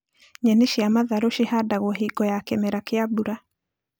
Nyeni cia matharũ cihandagwo hingo ya kĩmera kĩa mbura